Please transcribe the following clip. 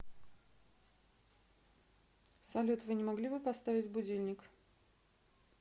салют вы не могли бы поставить будильник